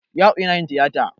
Ya'u yana yin tiyata.